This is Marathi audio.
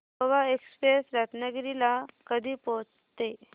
गोवा एक्सप्रेस रत्नागिरी ला कधी पोहचते